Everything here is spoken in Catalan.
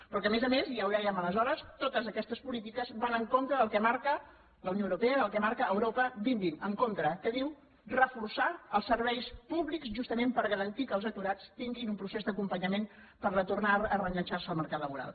però que a més a més ja ho dèiem aleshores totes aquestes polítiques van en contra del que marca la unió europea del que marca europa dos mil vint en contra que diu reforçar els serveis públics justament per garantir que els aturats tinguin un procés d’acompanyament per tornar a reenganxar se al mercat laboral